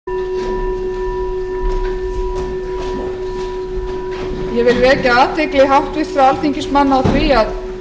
fundi er fram haldið á alþingi ég vil vekja athygli háttvirtra alþingismanna á því að